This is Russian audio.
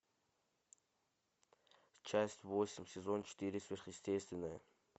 часть восемь сезон четыре сверхъестественное